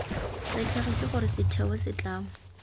re tlhagise gore setheo setlamo